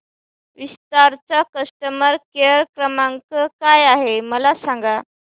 विस्तार चा customer care क्रमांक काय आहे मला सांगा